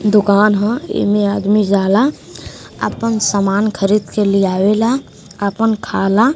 दुकान ह एम्मे आदमी जाला आपन समान खरीद के ली आवेला आपन खाला --